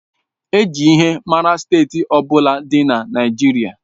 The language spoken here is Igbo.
E ji ihe mara Steeti ọ bụla dị na Naịjirịa.